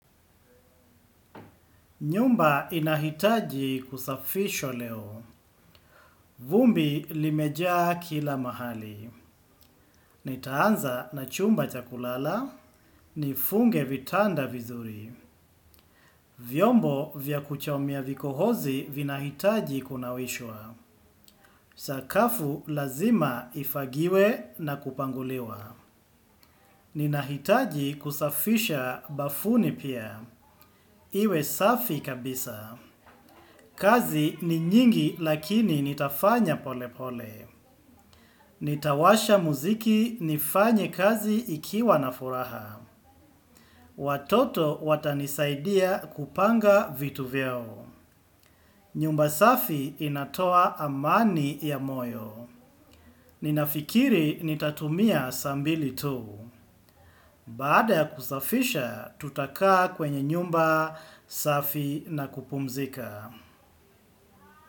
Nyumba inahitaji kusafishwa leo. Vumbi limejaa kila mahali. Nitaanza na chumba cha kulala. Nifunge vitanda vizuri. Vyombo vya kuchomea vikohozi vinahitaji kunawishwa. Sakafu lazima ifagiwe na kupanguliwa. Nina hitaji kusafisha bafuni pia. Iwe safi kabisa. Kazi ni nyingi lakini nitafanya pole pole. Nitawasha muziki nifanye kazi ikiwa na furaha. Watoto watanisaidia kupanga vitu vyao. Nyumba safi inatoa amani ya moyo. Ninafikiri nitatumia saa mbili tu. Baada ya kusafisha tutakaa kwenye nyumba safi na kupumzika.